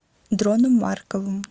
дроном марковым